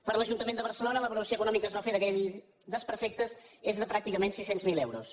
per l’ajuntament de barcelona la valoració econòmica que es va fer d’aquells desperfectes és de pràcticament sis cents miler euros